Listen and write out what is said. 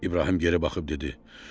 İbrahim geri baxıb dedi: